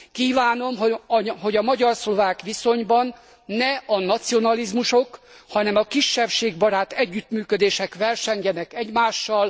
Kívánom, hogy a magyar szlovák viszonyban ne a nacionalizmusok, hanem a kisebbségbarát együttműködések versengjenek egymással.